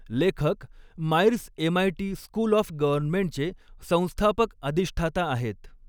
लेखक Myers MIT school of गव्हर्नमेंटचे संस्थापक अधिष्ठाता आहेत.